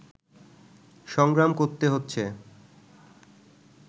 সংগ্রাম করতে হচ্ছে